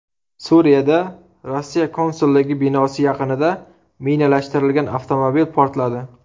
Suriyada Rossiya konsulligi binosi yaqinida minalashtirilgan avtomobil portladi.